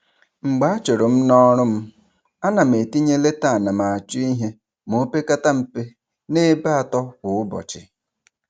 Mgbe a churu m n'ọrụ m, a na m etinye leta anamachọihe ma o pekata mpe n'ebe atọ kwa ụbọchị.